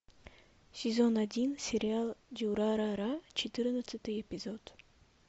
сезон один сериал дюрарара четырнадцатый эпизод